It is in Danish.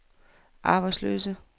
arbejdsløse